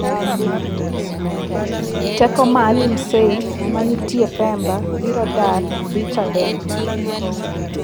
Teko Maalim Seif manitie Pemba biro dar dhi Chadema.